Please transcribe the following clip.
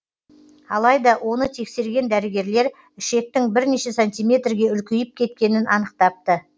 алайда оны тексерген дәрігерлер ішектің бірнеше сантиметрге үлкейіп кеткенін анықтапты